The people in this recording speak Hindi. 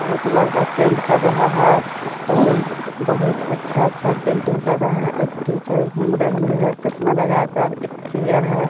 बहुत लड़का पेंट कर रहा है फूल बहुत अच्छा-अच्छा पेंटिंग कर रहा है एक टीचर घूम रही है चश्मा लगाकर एक चेयर है।